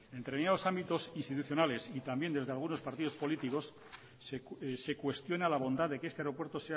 en determinados ámbitos institucionales y también desde algunos partido políticos se cuestiona la bondad de que este aeropuerto